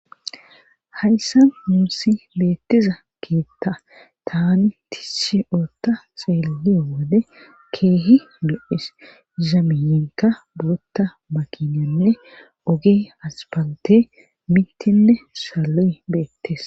Hayssa muusi beettiza keetta taani tisshe ootta seellee wode keehi lo'es zamiyinka bootta makinanne ogee aspalte mitinne saloy beettes